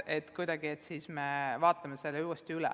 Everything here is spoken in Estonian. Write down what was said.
Siis me vaatame selle uuesti üle.